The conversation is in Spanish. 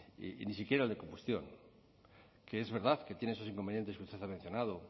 y ni siquiera el de combustión que es verdad que tienen esos inconvenientes que usted ha mencionado